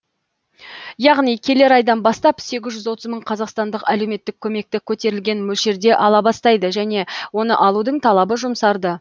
яғни келер айдан бастап сегіз жүз отыз мың қазақстандық әлеуметтік көмекті көтерілген мөлшерде ала бастайды және оны алудың талабы жұмсарды